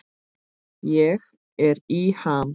Ég er í ham.